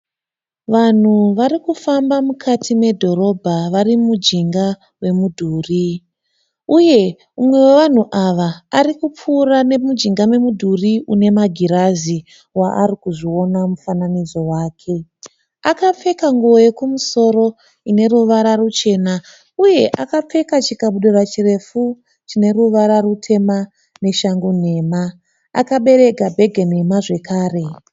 Vanhu vari kufamba mukati medhorobha vari mujinga memudhuri. Uye umwe wevanhu ava ari kupfuura nemujinga memudhuri une magirazi waari kuzviona mufananidzo wake. Akapfeka nguwo yekumusoro ine ruvara ruchena uye akapfeka chikabudura chirefu chine ruvara rutema neshangu nhema. Akabereka bhege nhema zvekare.